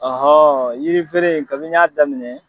yiri feere kabini n y'a daminɛ.